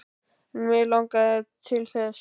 En mig langar mikið til þess.